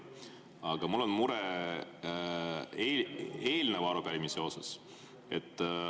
Aga mul on mure eelmise arupärimisega seoses.